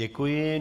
Děkuji.